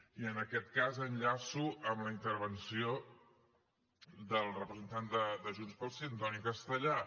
i en aquest cas enllaço amb la intervenció del representant de junts pel sí antoni castellà